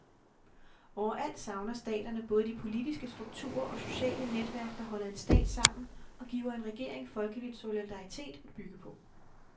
Overalt savner staterne både de politiske strukturer og sociale netværk, der holder en stat sammen og giver en regering folkelig solidaritet at bygge på.